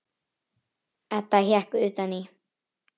Edda hékk utan í.